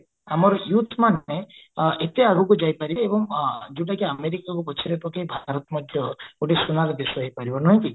ଆମର youth ମାନେ ଏତେ ଆଗକୁ ଯାଇପାରିବେ ଏବଂ ଯୋଉଟାକି ଆମେରିକାକୁ ପଛରେ ପକେଇ ଭାରତ ମଧ୍ୟ ଗୋଟେ ସୁନାର ଦେଶ ହେଇପାରିବା ନୁହେ କି